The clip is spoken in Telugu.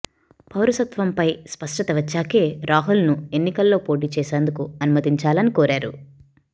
పౌరసత్వంపై స్పష్టత వచ్చాకే రాహుల్ను ఎన్నికల్లో పోటీ చేసేందుకు అనుమతించాలని కోరారు